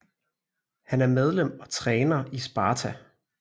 Han er medlem og træner i Sparta